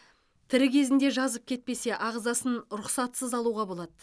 тірі кезінде жазып кетпесе ағзасын рұқсатсыз алуға болады